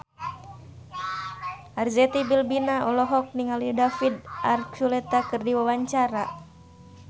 Arzetti Bilbina olohok ningali David Archuletta keur diwawancara